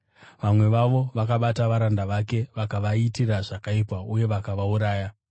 Vamwe vavo vakabata varanda vake vakavaitira zvakaipa uye vakavauraya.